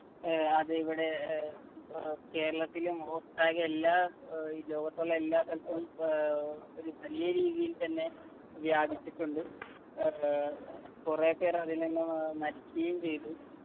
ഏർ അത് ഇവിടെ ഏർ ഏർ കേരളത്തിലും ഒട്ടാകെ എല്ലാ ഏർ ഈ ലോകത്തുള്ള എല്ലാ സ്ഥലത്തും ഏർ ഒരു വലിയ രീതിയിൽ തന്നെ വ്യാപിച്ചിട്ടുണ്ട് ഏർ കൊറേ പേര് അതിൽ നിന്ന് അഹ് മരിക്കുകയും ചെയ്തു